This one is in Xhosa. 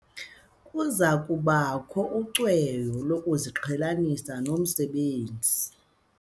Kuza kubakho ucweyo lokuziqhelanisa nomsebenzi.